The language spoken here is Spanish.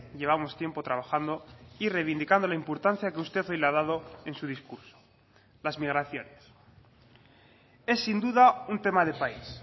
llevamos tiempo trabajando y reivindicando la importancia que usted hoy le ha dado en su discurso las migraciones es sin duda un tema de país